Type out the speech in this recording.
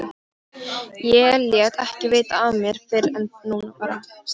Ég lét ekki vita af mér fyrr en núna bara.